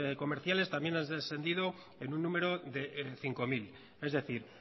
comerciales también han descendido en un número de cinco mil es decir